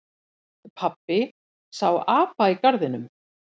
Pabbi sá apa í garðinum.